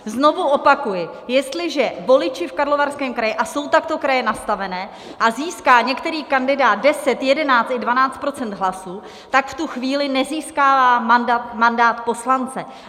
Znovu opakuji, jestliže voliči v Karlovarském kraji, a jsou takto kraje nastavené, a získá některý kandidát 10, 11 i 12 % hlasů, tak v tu chvíli nezískává mandát poslance.